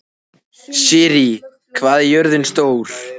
Sirrí, hvað er jörðin stór?